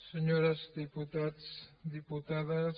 senyors diputats diputades